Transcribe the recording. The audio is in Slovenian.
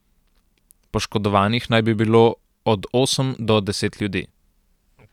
Poškodovanih naj bi bilo od osem do deset ljudi.